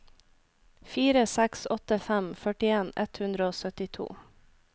fire seks åtte fem førtien ett hundre og syttito